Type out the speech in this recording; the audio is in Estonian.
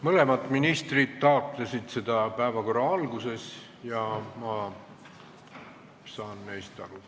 Mõlemad ministrid taotlesid, et see toimuks päevakorra alguses, ja ma saan neist aru.